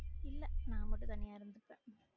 இல்ல நா மட்டும் தனியா இருந்துப்பேன்